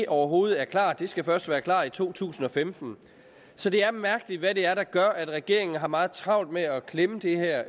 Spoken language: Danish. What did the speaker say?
overhovedet er klart for det skal først være klart i to tusind og femten så det er mærkeligt hvad det er der gør at regeringen har meget travlt med at klemme det her